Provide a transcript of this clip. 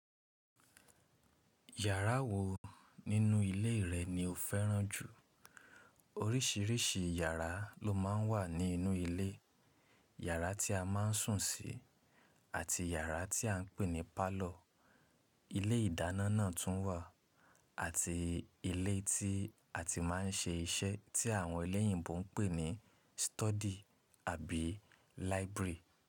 Ìyàrá wo nínú ilé rẹ ni o fẹ́ràn jù? Orísìírísìí yàrá ló má ń wà nínú ilé. Ìyàrá tí a maá ń sùn sí àti iyàrá tí à ń pè ní pálọ̀. Ilé ìdáná náà tún wà àti ilé tí a ti maá ń ṣe iṣẹ́ tí àwọn ẹlẹ́yìnbo ń pè ní study àbí library.